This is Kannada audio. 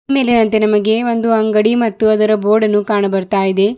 ಈ ಮೇಲಿನಂತೆ ನಮಗೆ ಒಂದು ಅಂಗಡಿ ಮತ್ತು ಅದರ ಬೋರ್ಡ್ ಅನ್ನು ಕಾಣು ಬರ್ತಾ ಇದೆ.